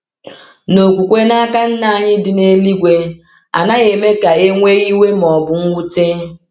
Na okwukwe n’aka Nna anyị dị n’eluigwe anaghị eme ka e nwee iwe ma ọ bụ mwute.